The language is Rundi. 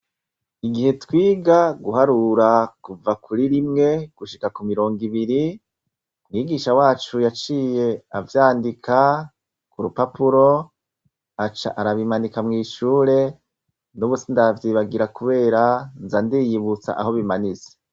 igihe twiga guharura kuva kuri rimwe gushika ku mirongo ibiri mwigisha wacu yaciye avyandika ku rupapuro aca arabimanika mwishure n'ubusindavyibagira kubera nzandiyibutsa aho bimanise